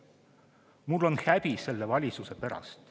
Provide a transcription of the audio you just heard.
Mul on häbi selle valitsuse pärast.